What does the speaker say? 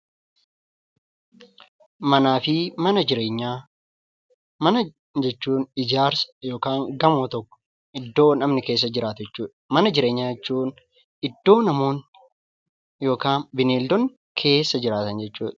Mana jechuun gamoo yookaan ijaarsa tokko iddoo namni keessa jiraatu jechuudha. Mana jireenyaa jechuun iddoo namoonni yookaan bineeldonni keessa jiraatan jechuudha.